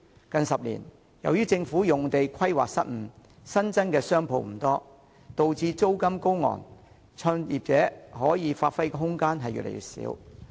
近10年來，由於政府土地規劃失誤，新增商鋪不多，導致租金高昂，創業者可以發揮的空間越來越少。